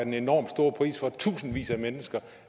en enormt stor pris for tusindvis af mennesker